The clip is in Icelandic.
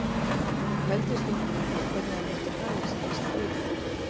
Hann pældi stundum í því hvernig hann myndi haga sér í stríði